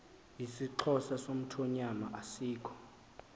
isixhosa somthonyama asikho